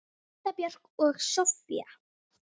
Linda Björk og Soffía.